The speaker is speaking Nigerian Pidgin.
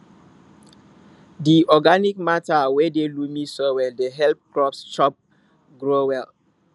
di organic matter wey dey loamy soil dey help crops chop grow well